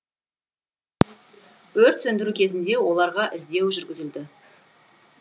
өрт сөндіру кезінде оларға іздеу жүргізілді